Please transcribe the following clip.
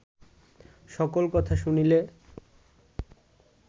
সকল কথা শুনিলে